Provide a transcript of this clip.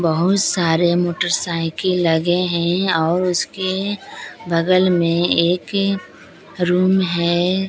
बहुत सारे मोटरसाइकिल लगे हैं और उसके बगल में एक रूम है।